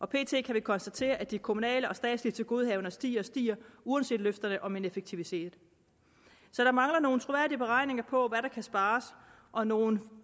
pt kan vi konstatere at de kommunale og statslige tilgodehavender stiger og stiger uanset løfterne om en effektivisering så der mangler nogle troværdige beregninger på hvad der kan spares og nogle